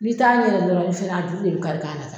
N'i t'a ɲɛdɔn dɔrɔn i fɛnɛ a juru de bɛ kari i kan na.